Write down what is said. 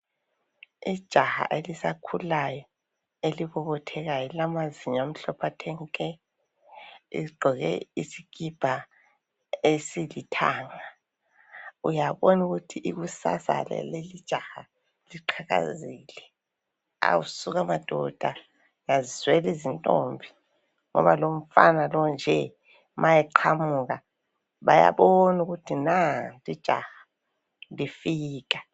Ijaha elisakhulayo elibobothekayo elilamazinyo amhlophe athe nke ligqoke isikipa esilithanga uyabona ukuthi ikusasa yalelijaha iqhakazile. Awu suka madoda! uyazizweli zintombi ngoba lumfana nje ma eqhamuka bayabona ukuthi nanti ijaha lifika.